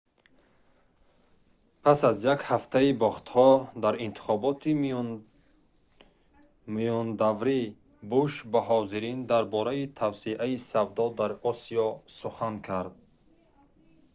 пас аз як ҳафтаи бохтҳо дар интихоботи миёнадаврӣ буш ба ҳозирин дар бораи тавсеаи савдо дар осиё сухан кард